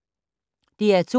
DR2